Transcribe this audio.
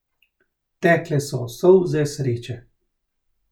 Tekle so solze sreče.